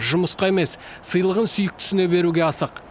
жұмысқа емес сыйлығын сүйіктісіне беруге асық